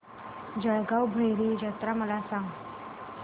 जळगाव भैरी जत्रा मला सांग